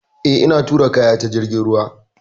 Eh, ina tura kaya ta jirgin ruwa.